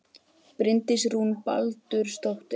Bryndís Rún Baldursdóttir